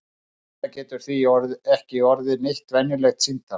Þetta getur því ekki orðið neitt venjulegt símtal!